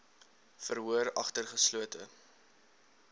verhoor agter geslote